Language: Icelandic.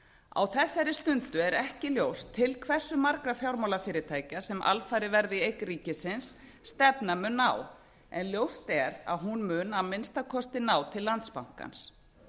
á þessari stundu er ekki ljóst til hversu margra fjármálafyrirtækja sem alfarið verða í eign ríkisins stefnan mun ná en ljóst er að hún mun að minnsta kosti ná til landsbankans